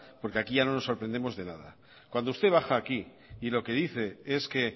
porque aquí ya no nos sorprendemos de nada cuando usted baja aquí y lo que dice es que